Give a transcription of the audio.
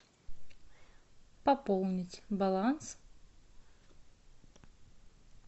пополнить баланс